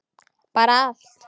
Bara allt.